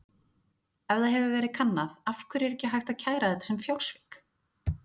Ef það hefur verið kannað: Af hverju er ekki hægt að kæra þetta sem fjársvik?